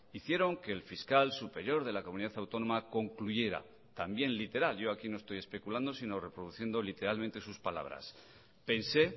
hicieron que el fiscal superior de la comunidad autónoma concluyera también literal yo aquí no estoy especulando sino reproduciendo literalmente sus palabras pensé